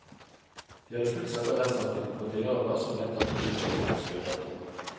De hadde fulgt selve rettssaken på tilhørerplass og mente at bevisførselen skurret.